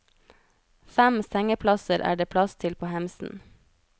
Fem sengeplasser er det plass til på hemsen.